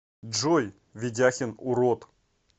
джой ведяхин урод